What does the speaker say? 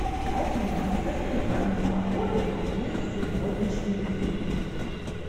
афина расскажи мне прогноз погоды на весь сегодняшний день